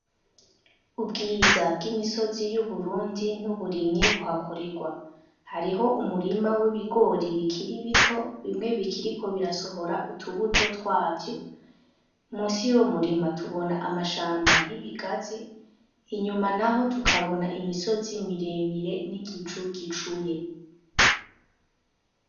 Ubwiza bw'imisozi y'uburundi n'uburimyi buhakorerwa hariho umurima w'ibigori bikiri bito bimwe bikiriko birasohora utubuto twavyo musi yo murima tubona amashamba y'ibigaze inyuma na ho tukabona imisozi miremire n'igicu gicu cuye.